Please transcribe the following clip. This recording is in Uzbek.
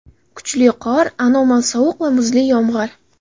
Kuchli qor, anomal sovuq va muzli yomg‘ir.